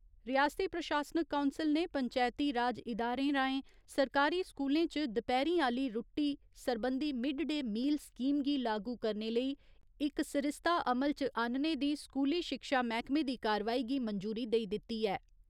रियासती प्रशासनिक काउंसल ने पंचैती राज इदारें राहें सरकारी स्कूलें च दपैह्‌रीं आली रूट्टी सरबंधी मिड डे मील स्कीम गी लागू करने लेई इक सरिस्ता अमल च आह्‌न्ने दी स्कूली शिक्षा मैह्कमे दी कार्रवाई गी मंजूरी देई दित्ती ऐ।